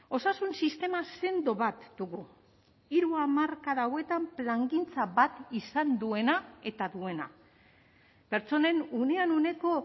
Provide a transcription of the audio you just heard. osasun sistema sendo bat dugu hiru hamarkada hauetan plangintza bat izan duena eta duena pertsonen unean uneko